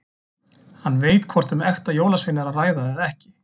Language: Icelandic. Hann veit hvort um ekta jólasvein er að ræða eða ekki.